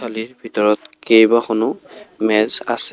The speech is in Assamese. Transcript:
আলিৰ ভিতৰত কেইবাখনো মেজ আছে।